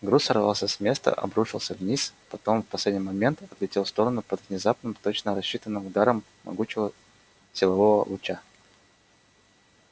груз сорвался с места обрушился вниз потом в последний момент отлетел в сторону под внезапным точно рассчитанным ударом могучего силового луча